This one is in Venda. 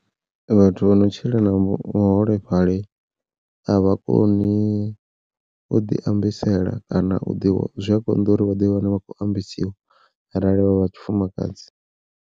Vhathu vha no tshila na vhuholefhali a vha koni u ḓi ambisela kana u ḓi zwi a konḓa uri vhaḓi wane vha kho ambisiwa arali vha vha tshifumakadzi.